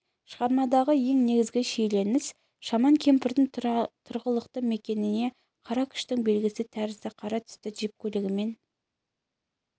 шығармадағы ең негізгі шиеленіс шаман кемпірдің тұрғылықты мекеніне қара күштің белгісі тәрізді қара түсті джип көлігімен